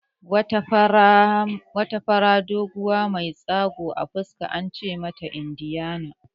Wata fara, doguwa mai tsagu a fuska ana ce mata Indiyana